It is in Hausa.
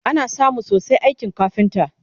ana samun sosai a aikin kafinta